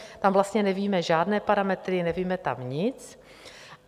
Tam vlastně nevíme žádné parametry, nevíme tam nic.